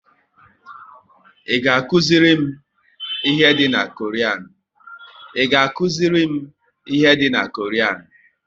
Ị ga akụziri m ihe dị na Koran?